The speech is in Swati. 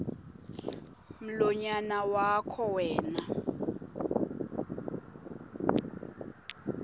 mlonyana wakho wena